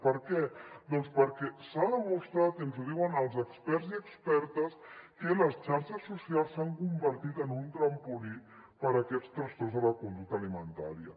per què doncs perquè s’ha demostrat i ens ho diuen els experts i expertes que les xarxes socials s’han convertit en un trampolí per a aquests trastorns de la conducta alimentària